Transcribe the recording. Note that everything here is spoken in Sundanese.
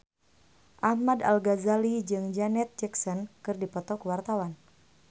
Ahmad Al-Ghazali jeung Janet Jackson keur dipoto ku wartawan